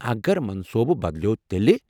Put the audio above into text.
اگر منصونہٕ بدلیو تیٚلہِ؟